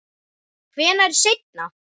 Hvenær seinna?